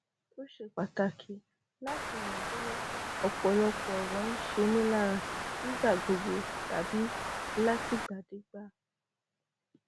ó ṣe pàtàkì láti mọ bóyá ọpọlọpọ ọrọ ń ṣe mí lára nígbà gbogbo tàbí látìgbàdégbà